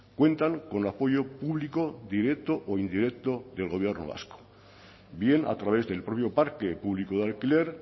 cuentan con apoyo público directo o indirecto del gobierno vasco bien a través del propio parque público de alquiler